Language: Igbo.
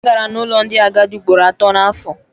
Agara n'ụlọ ndị agadi ugboro atọ n'afọ.